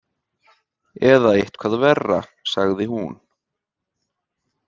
Eða eitthvað verra, sagði hún.